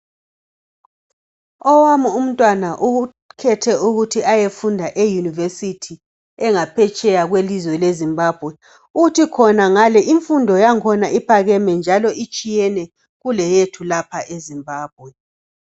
Owami umntwana ukhethe ukuthi ayefunda eyunivesithi engaphetsheya kwelizwe leZimbawe uthi khonangale imfundo yakhona iphakeme njalo itshiyene kuleyethu lapha eZimbabwe.